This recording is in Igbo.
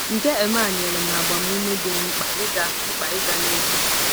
Nke um a nyere m agbamume dị m mkpa ịga mkpa ịga n'ihu.